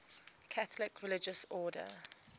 catholic religious order